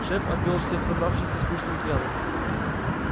шеф обвёл всех собравшихся скучным взглядом